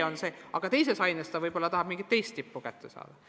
Mõnes teises aines võib-olla tahab kool mingi teise valdkonna tippe kätte saada.